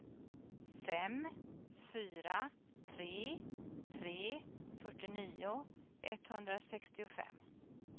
fem fyra tre tre fyrtionio etthundrasextiofem